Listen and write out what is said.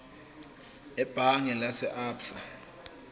ebhange lase absa